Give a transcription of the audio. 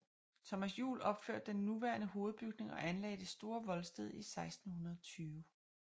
Thomas Juel opførte den nuværende hovedbygning og anlagde det store voldsted i 1620